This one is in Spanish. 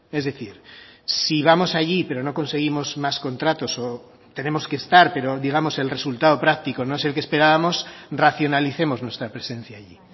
es decir si vamos allí pero no conseguimos más contratos o tenemos que estar pero digamos el resultado práctico no es el que esperábamos racionalicemos nuestra presencia allí